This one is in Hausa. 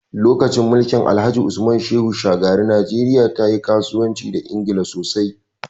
Lokacin mulkin Alhaji Usman Shehu Shagari, najeriya ta yi kasuwanci da Ingila sosai.